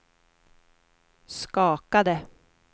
skakade